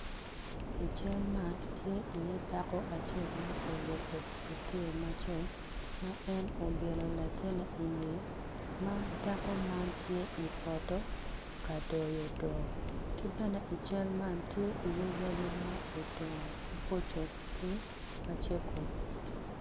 I cal man tye iye dako ma oruko teteyi macol ma en obyelo latin i ngeye madako man tye i poto kadoyo dok ki bene i cal man